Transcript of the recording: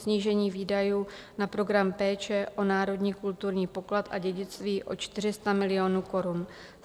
Snížení výdajů na program Péče o národní kulturní poklad a dědictví o 400 milionů korun.